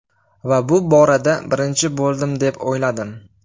Va bu borada birinchi bo‘ldim deb o‘yladim.